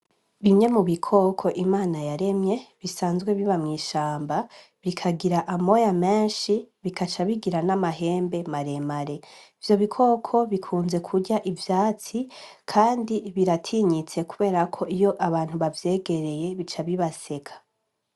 Bimye mu bikoko imana yaremye bisanzwe biba mw'ishamba bikagira amoya menshi bikaca bigira n'amahembe maremare ivyo bikoko bikunze kurya ivyatsi, kandi biratinyitse kuberako iyo abantu bavyegereye bica bibaseka.